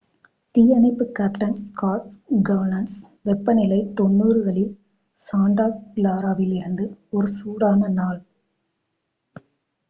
"""தீயணைப்பு captain Scott கௌன்ஸ் """வெப்பநிலை 90களில் சாண்டா கிளாராவில் இது ஒரு சூடான நாள்.""""